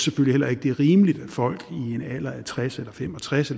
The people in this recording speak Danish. heller ikke det er rimeligt at folk i en alder af tres eller fem og tres